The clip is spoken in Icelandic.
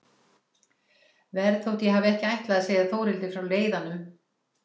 Verð þótt ég hafi ekki ætlað að segja Þórhildi frá leiðanum.